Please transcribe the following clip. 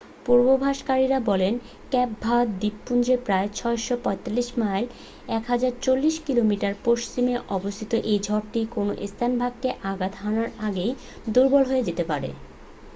পূর্বাভাসকারীরা বলে Cape Verde দ্বীপপুঞ্জের প্রায় ৬৪৫ মাইল ১০৪০ কিমি পশ্চিমে অবস্থিত এই ঝড়টি কোন স্থলভাগকে আঘাত হানার আগেই দুর্বল হয়ে যেতে পারে।